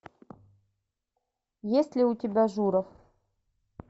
есть ли у тебя журов